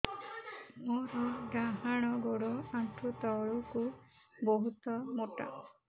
ମୋର ଡାହାଣ ଗୋଡ ଆଣ୍ଠୁ ତଳୁକୁ ବହୁତ ମୋଟା